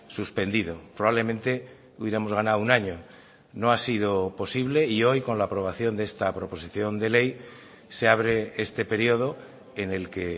suspendido probablemente hubiéramos ganado un año no ha sido posible y hoy con la aprobación de esta proposición de ley se abre este periodo en el que